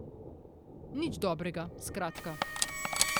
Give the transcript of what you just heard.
Nič dobrega, skratka.